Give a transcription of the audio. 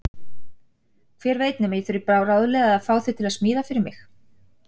Hver veit nema ég þurfi bráðlega að fá þig til að smíða fyrir mig.